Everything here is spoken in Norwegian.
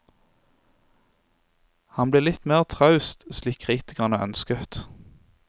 Han ble litt mer traust slik kritikerne ønsket.